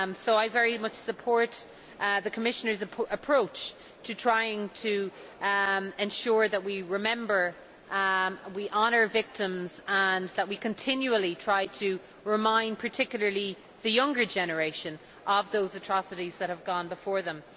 I very much support the Commissioner's approach to trying to ensure that we remember and honour victims and that we continually try to remind people, particularly the younger generation, of those atrocities that have gone before them.